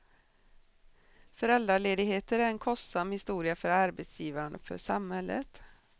Föräldraledigheter är en kostsam historia för arbetsgivaren och för samhället.